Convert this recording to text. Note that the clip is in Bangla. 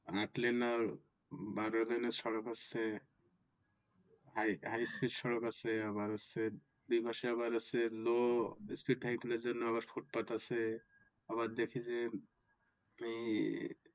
আট লেন এর বার লেনের সড়ক হচ্ছে High Speed সড়ক হচ্ছে আবার হচ্ছে এই মাসে আবার হচ্ছে Low Speed এর জন্য ফুটপাত আছে এই